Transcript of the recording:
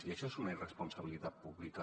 i això és una irresponsabilitat pública